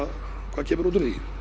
hvað kemur út úr því